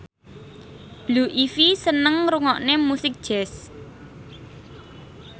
Blue Ivy seneng ngrungokne musik jazz